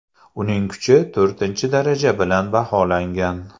Uning kuchi to‘rtinchi daraja bilan baholangan.